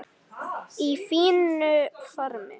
Í fínu formi.